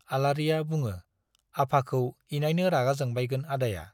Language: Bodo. आलारिया बुङो, आफाखौ इनायनो रागा जोंबायगोन आदाया?